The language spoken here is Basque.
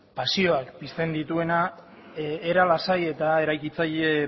pasioak pizten dituenak era lasai eta eraikitzaile